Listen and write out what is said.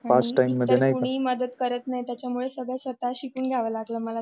कोणी मदत करत नाही त्याच्यामुळे सगळं स्वतः शिकून घ्यावा लागेल मला